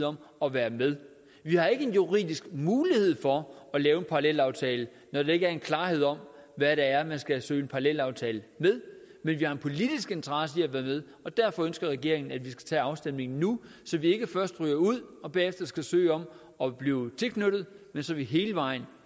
om at være med vi har ikke en juridisk mulighed for at lave en parallelaftale når der ikke er klarhed over hvad det er man skal søge en parallelaftale ved men vi har en politisk interesse i at være med og derfor ønsker regeringen at vi skal tage afstemningen nu så vi ikke først ryger ud og bagefter skal søge om at blive tilknyttet men så vi hele vejen